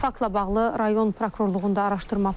Faktla bağlı rayon prokurorluğunda araşdırma aparılır.